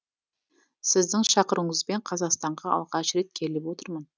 сіздің шақыруыңызбен қазақстанға алғаш рет келіп отырмын